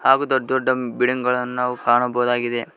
ಹಾಗು ದೊಡ್ ದೊಡ್ಡ ಬಿಡಿಂಗ್ ಗಳನ್ನು ನಾವು ಕಾಣಬಹುದಾಗಿದೆ.